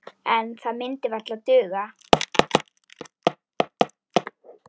En það myndi varla duga.